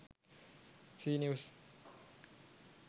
c news